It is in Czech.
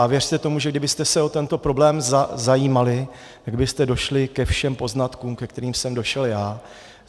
A věřte tomu, že kdybyste se o tento problém zajímali, tak byste došli ke všem poznatkům, ke kterým jsem došel já.